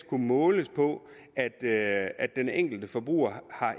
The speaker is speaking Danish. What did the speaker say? kunne måles på at at den enkelte forbruger